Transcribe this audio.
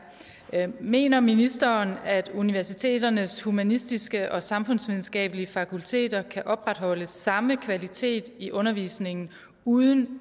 mener ministeren at universiteternes humanistiske og samfundsvidenskabelige fakulteter kan opretholde samme kvalitet i undervisningen uden